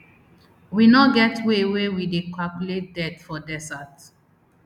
we no get way wey we dey calculate death for desert